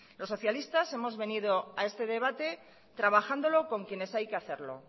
los socialistas hemos venido a este debate trabajándolo con quienes hay que hacerlo